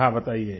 हाँ बताइए